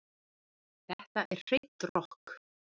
Þetta er hreint rokk